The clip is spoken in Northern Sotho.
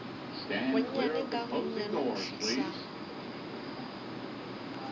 gonnyane ka gonnyane go fihla